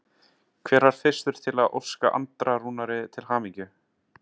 Hver var fyrstur til að óska Andra Rúnari til hamingju?